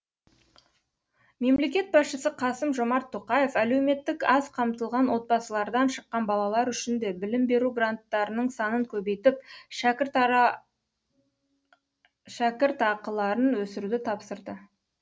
мемлекет басшысы қасым жомарт тоқаев әлеуметтік аз қамтылған отбасылардан шыққан балалар үшін де білім беру гранттарының санын көбейтіп шәкіртақыларын өсіруді тапсырды